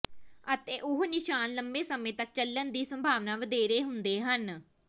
ਅਤੇ ਉਹ ਨਿਸ਼ਾਨ ਲੰਬੇ ਸਮੇਂ ਤੱਕ ਚੱਲਣ ਦੀ ਸੰਭਾਵਨਾ ਵਧੇਰੇ ਹੁੰਦੇ ਹਨ